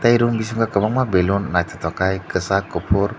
tei room bisingo kwbangma balun nythokkhai kwchak kufur.